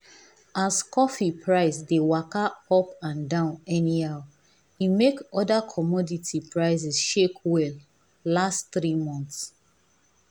as coffee price dey waka up and down anyhow e make other commodity prices shake well last three months.